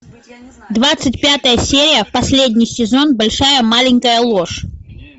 двадцать пятая серия последний сезон большая маленькая ложь